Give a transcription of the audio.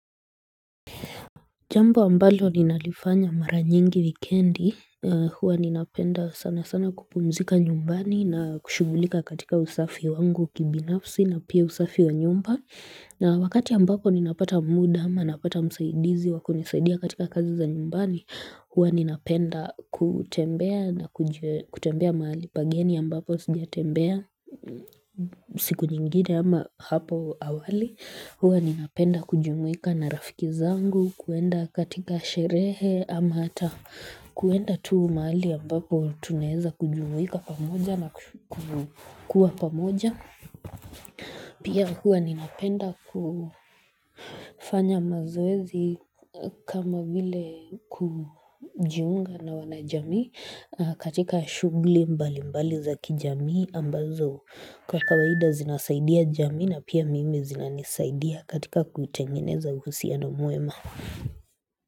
Jambo ambalo ninalifanya mara nyingi wikendi huwa ninapenda sana sana kupumzika nyumbani na kushughulika katika usafi wangu kibinafsi na pia usafi wa nyumba na wakati ambapo ninapata muda ama napata msaidizi wakunisaidia katika kazi za nyumbani huwa ninapenda kutembea na kutembea mahali pageni ambapo sijatembea siku nyingine ama hapo awali Huwa ninapenda kujumuika na rafiki zangu kuenda katika sherehe ama hata kuenda tuu mahali ambapo tunezakujumuika pamoja na kukua pamoja Pia huwa ninapenda kufanya mazoezi kama vile kujiunga na wanajamii katika shughli mbali mbali za kijamii ambazo Kwa kawaida zinasaidia jamii na pia mimi zinanisaidia katika kutengeneza usia na mwema.